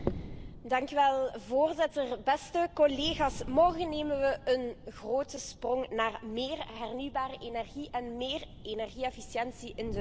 Voorzitter, beste collega's, morgen zetten we een grote stap op weg naar meer hernieuwbare energie en meer energie efficiëntie in de Europese Unie.